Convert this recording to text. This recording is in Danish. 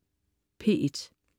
P1: